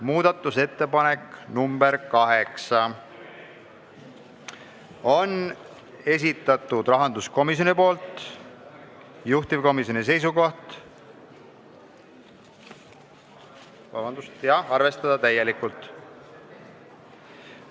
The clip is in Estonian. Muudatusettepanek nr 8 on rahanduskomisjoni esitatud, juhtivkomisjoni seisukoht: arvestada täielikult.